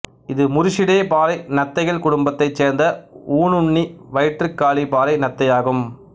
இது முரிசிடே பாறை நத்தைகள் குடும்பத்தைச் சேர்ந்த ஊனுண்ணி வயிற்றுக்காலி பாறை நத்தையாகும்